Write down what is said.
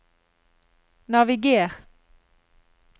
naviger